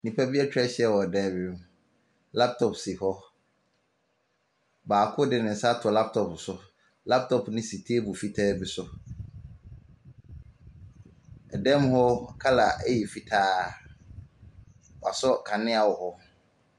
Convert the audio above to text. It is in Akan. Nnipa bi etwa ahyia wɔ ɔdan bi mu. Laptɔp si hɔ. Baako de ne nsa ato laptɔp so. Laptɔp ne si teebol fitaa bi so. Ɛdan mu hɔ kala ɛyɛ fitaa. W'asɔ kanea wɔhɔ.